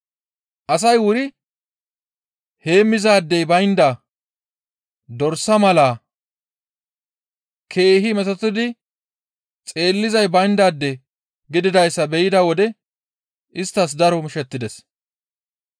Asay wuri heemmizaadey baynda dorsa mala keehi metotettidi xeellizay bayndaade gididayssa be7ida wode isttas daro mishettides.